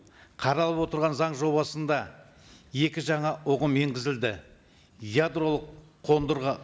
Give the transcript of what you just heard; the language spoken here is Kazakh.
қаралып отырған заң жобасында екі жаңа ұғым енгізілді ядролық қондырғы